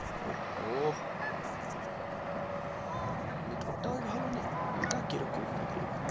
ওহো নেটওর্ক তাই ভালো নেই, ইটা কি রকম হয়ে গেলো গো,